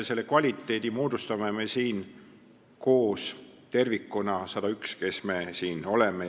Selle kvaliteedi moodustame me siin koos tervikuna, kõik 101, kes me siin oleme.